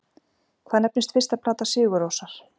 Hvað nefnist fyrsta plata Sigur Rósar?